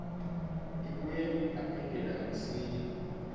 ibuye yaphindela kamsinya